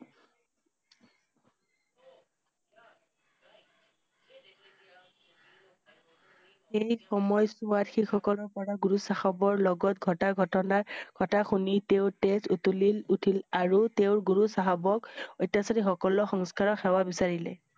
সেই সময়চোৱাত শিখ সকলৰ পৰা গুৰু চাহাবৰ লগত ঘটা ঘটনা কথা শুনি তেওঁৰ তেজ উতলি উঠিল আৰু তেওঁৰ গুৰু চাহাবক অত্যাচাৰী সকলক সেৱা বিচাৰিলে।